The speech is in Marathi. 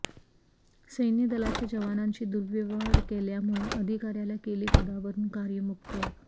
सैन्य दलाच्या जवानांशी दुर्व्यवहार केल्यामुळे अधिकाऱ्याला केले पदावरुन कार्यमुक्त